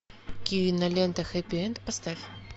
кинолента хэппи энд поставь